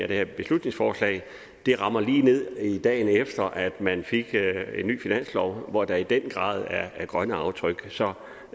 her beslutningsforslag rammer ned lige dagen efter man fik en ny finanslov hvor der i den grad er grønne aftryk så